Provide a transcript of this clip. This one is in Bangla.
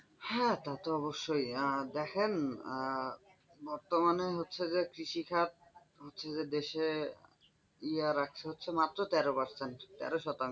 হ্যাঁ তা তো অবশ্যই দেখেন বর্তমানে হচ্ছে যে কৃষিখাত হচ্ছে যে দেশের ইয়ার হচ্ছে মাত্র তেরো percent তেরো শতাংশ।